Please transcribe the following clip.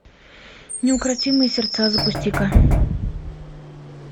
неукротимые сердца запусти ка